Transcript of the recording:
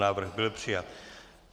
Návrh byl přijat.